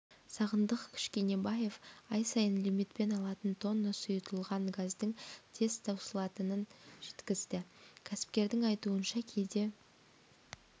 сағындық кішкенебаев ай сайын лимитпен алатын тонна сұйытылған газдың тез таусылатынын жеткізді кәсіпкердің айтуынша кейде